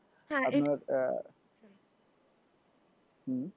হম